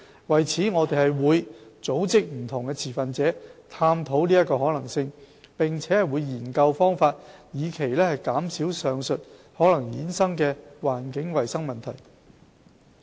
為此，我們會組織不同持份者探討其可行性，並會研究方法以期減少上述可能衍生的環境衞生問題。